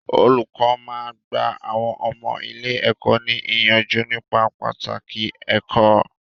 Olùkọ́ máa ń gba àwọn ọmọ ilé-ẹ̀kọ́ ní ìyànjú nípa pàtàkì ẹ̀kó.